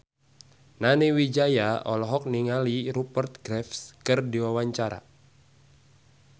Nani Wijaya olohok ningali Rupert Graves keur diwawancara